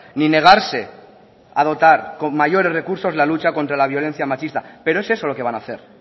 ni negarse a dotar con mayores recursos la lucha contra la violencia machista pero es eso lo que van a hacer